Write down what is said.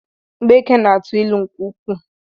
Mgbeke na-atụ ịlụ nke ukwuu